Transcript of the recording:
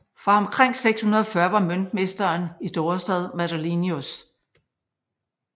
Fra omkring 640 var møntmesteren i Dorestad Madelinus